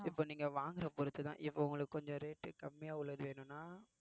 இப்ப நீங்க வாங்குற பொறுத்து தான் இப்ப உங்களுக்கு கொஞ்சம் rate கம்மியா உள்ளது வேணும்னா